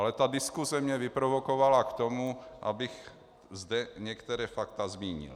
Ale ta diskuse mě vyprovokovala k tomu, abych zde některá fakta zmínil.